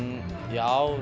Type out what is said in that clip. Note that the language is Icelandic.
já